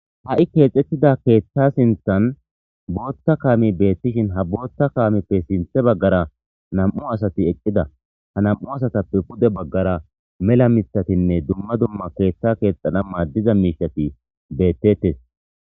ha7i keexxettida keeththa sinthan bootta kaami beettishin ha bootta kaamippe sinthe baggara nam7u asati eqqida ha nam7u asatappe pude baggara mela mithatinne dumma dumma keeththa keexxana maaddiza miisati beettettes